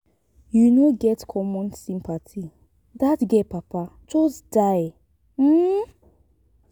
you no get common sympathy? dat girl papa just die um